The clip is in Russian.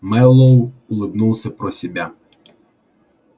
мэллоу улыбнулся про себя